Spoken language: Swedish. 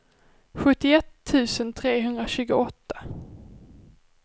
sjuttioett tusen trehundratjugoåtta